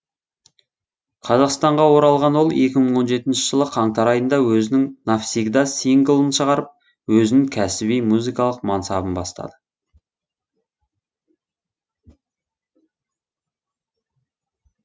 қазақстанға оралған ол екі мың он жетінші жылы қаңтар айында өзінің навсегда синглын шығарып өзін кәсіби музыкалық мансабын бастады